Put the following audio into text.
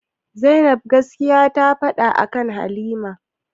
Zainab gaskiya ta faɗa akan halima?